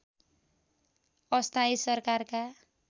अस्थायी सरकारका